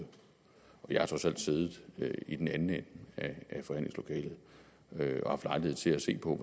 jeg har trods alt siddet i den anden ende af forhandlingslokalet og haft lejlighed til at se på